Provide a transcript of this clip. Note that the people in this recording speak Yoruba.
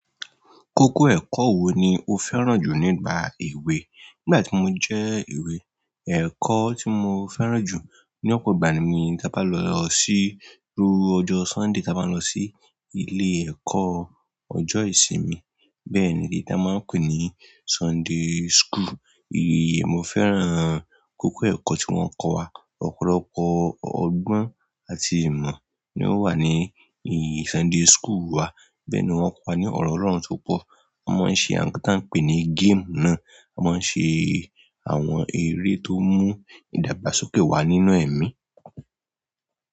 Kókó ẹ̀kọ́ wo ni o fẹ́ràn jù nígbà èwe? Nígbà tí mo jẹ́ èwe, ẹ̀kọ́ tí mo fẹ́ràn jù ní ọ̀pọ̀ ìgbà ni tí a bá lọ sí rú ọjọ́ Sunday tí a bá lọ sí ilé ẹ̀kọ́ ọjọ́ ìsinmi. Bẹ́ẹ̀ni èyí t'ọ́n máa ń pe ní Sunday school. Èyí mo fẹ́ràn kókó ẹ̀kọ́ tí wọ́n kọ́ wa. Ọ̀pọ̀lọpọ̀ ọgbọ́n àti ìmọ̀ ni ó wà ní èyí Sunday school wa. Bẹ́ẹ̀ ni wọ́n kọ́ wa ní ọ̀rọ̀ Ọlọ́run tó pọ̀. Mo máa ń ṣe àwọn nǹkan táà ń pè ní game náà. A máa ń ṣe àwọn eré tó mú ìdàgbàsókè wà nínú ẹ̀mí.